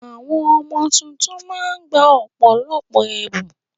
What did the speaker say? Àwọn ọmọ tuntun ma ń gba ọ̀pọ̀lọpọ̀ ẹ̀bùn.